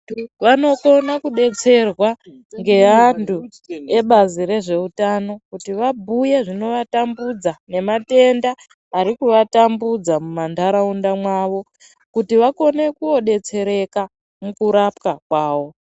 Vanokona kudetserwa ngeantu ebazi rezveutano kuti vabhuye zvinovatambudza nematenda arikuatambudza mumanharaunda mavo kuti vakone kodetsereka mukurapwa kwawo.